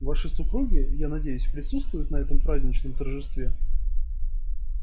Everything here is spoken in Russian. ваши супруги я надеюсь присутствуют на этом праздничном торжестве